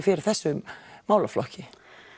fyrir þessum málaflokki